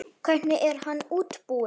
Hvernig er hann útbúinn?